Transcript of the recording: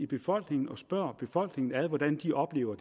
befolkningen og spørge befolkningen ad hvordan de oplever